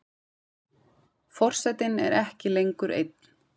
Forsetinn er ekki lengur einn.